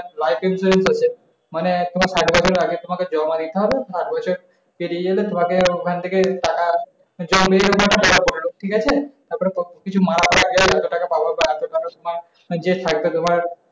life insurance আছে। মানে এখন ভাগে ভাগে ভাগে তোমাকে জমা দিতে হব পাঁচ বছর পেরিয়ে গেলে তোমাকে ওখান থেকে টাকা ঠিক আছে?